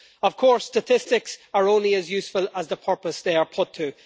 Of course, statistics are only as useful as the purpose they are put to.